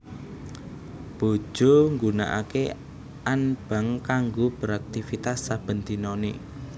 Bojo nggunakake anbang kanggo beraktivitas saben dinane